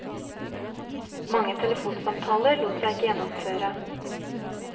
Mange telefonsamtaler lot seg ikke gjennomføre.